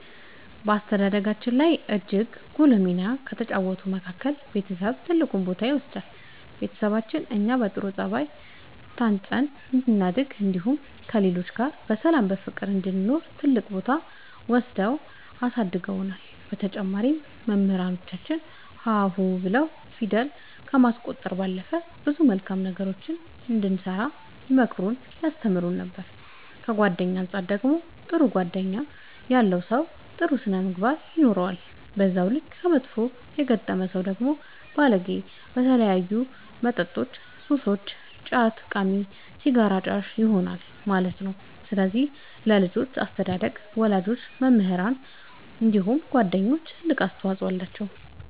በአስተዳደጋችን ላይ እጅግ ጉልህ ሚና ከተጫወቱት መካከል ቤተሰብ ትልቁን ቦታ ይወስዳሉ ቤተሰቦቻችን እኛ በጥሩ ጸባይ ታንጸን እንድናድግ እንዲሁም ከሌሎች ጋር በሰላም በፍቅር እንድንኖር ትልቅ ቦታ ወስደው አሳድገውናል በተጨማሪም መምህራኖቻችን ሀ ሁ ብለው ፊደል ከማስቆጠር ባለፈ ብዙ መልካም ነገሮችን እንድንሰራ ይመክሩን ያስተምሩን ነበር ከጓደኛ አንፃር ደግሞ ጥሩ ጓደኛ ያለው ሰው ጥሩ ስነ ምግባር ይኖረዋል በዛው ልክ ከመጥፎ የገጠመ ሰው ደግሞ ባለጌ በተለያዩ መጠጦች ሱሰኛ ጫት ቃሚ ሲጋራ አጫሽ ይሆናል ማለት ነው ስለዚህ ለልጆች አስተዳደግ ወላጆች መምህራኖች እንዲሁም ጓደኞች ትልቅ አስተዋፅኦ አላቸው።